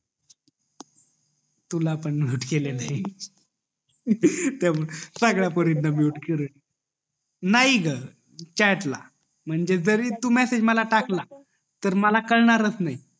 तुला पण mute केलेल ये सगळ्या पोरींना mute केलेल ये नाही ग चाट ला म्हणजे जरी तू मेसेज मला टाकला तर मला कळणार च नाही